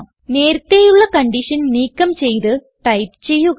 നേരത്തേയുള്ള condition നീക്കം ചെയ്ത് type ചെയ്യുക